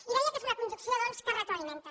i deia que és una conjunció doncs que es retroalimenta